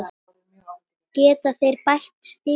Geta þeir bætt sig?